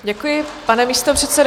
Děkuji, pane místopředsedo.